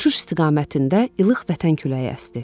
Uçuş istiqamətində ilıq vətən küləyi əsdi.